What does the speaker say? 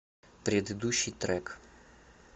предыдущий трек